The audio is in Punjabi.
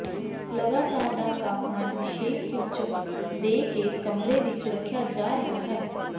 ਲਗਾਤਾਰ ਦਾ ਤਾਪਮਾਨ ਵਿਸ਼ੇਸ਼ ਸੂਚਕ ਦੇ ਕੇ ਕਮਰੇ ਵਿੱਚ ਰੱਖਿਆ ਜਾ ਰਿਹਾ ਹੈ